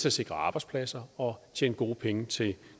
at sikre arbejdspladser og tjene gode penge til